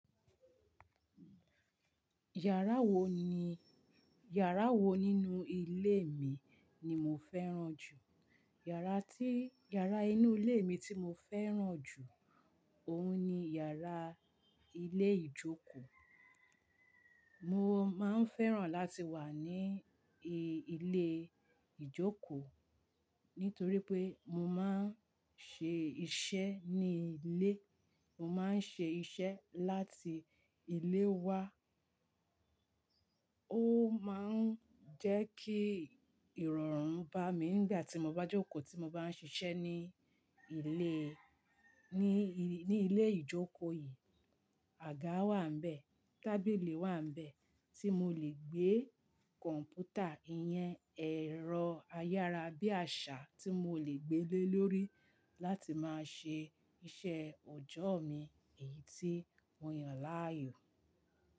Yàrá wo ni, yàrá wo nínú ilé mi ni mo fẹ́ràn jù? Yàrá tí, yàrá inú ilé mi tí mo fẹ́ràn jù, òun ni yàrá ilé ìjókòó. Mo máa ń fẹ́ràn láti wà ní e, ilé ìjókòó nítorí pé mo máa ń ṣe iṣẹ́ ní ilé. Mo máa ń ṣe iṣẹ́ láti ilé wa. Ó máa ń jẹ́ kí ìrọ̀rùn bá mi nígbà tí mo bá jókòó, tí mo bá ń ṣiṣẹ́ ní ilé, ní i, ní ilé ìjókòó yìí. Àga wà ń bẹ̀, tábìlì wà ń bẹ̀ tí mo lè gbé cpmputer, ìyẹn, ẹ̀rọ ayára bí àṣá tí mo lè gbé lé lórí láti máa ṣe iṣẹ́ òjọ́ mi. Èyí tí mo yàn láàyò.